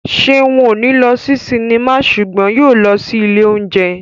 Ṣeun ò ní lọ sí sinimá ṣùgbọ́n yóò lọ sí ilé óúnjẹ